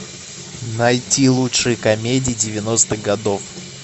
найти лучшие комедии девяностых годов